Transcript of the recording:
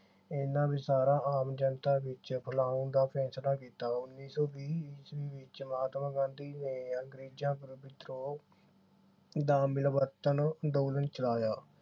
ਇਨ੍ਹਾਂ ਸਾਰਾ ਆਮ ਜਨਤਾ ਵਿਚ ਬਲਾਉਣ ਦਾ ਫੈਸਲਾ ਕੀਤਾ। ਉਨੀ ਸੌ ਵੀਹ ਈਸਵੀ ਵਿਚ ਮਹਾਤਮਾ ਗਾਂਧੀ ਨੇ ਅੰਗਰੇਜਾਂ ਤੋਂ ਵਿਦਰੋਹ ਦਾ ਮਿਲਵਰਤਨ ਅੰਦੋਲਨ ਚਲਾਇਆ।